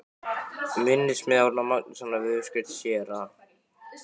Minnismiði Árna Magnússonar við uppskrift séra